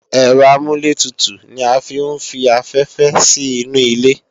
Ẹ̀rọ amúlẹ̀tutù ni a fi ń fi afẹ́fẹ́ sí inu ilé